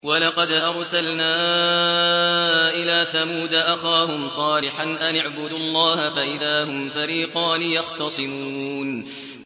وَلَقَدْ أَرْسَلْنَا إِلَىٰ ثَمُودَ أَخَاهُمْ صَالِحًا أَنِ اعْبُدُوا اللَّهَ فَإِذَا هُمْ فَرِيقَانِ يَخْتَصِمُونَ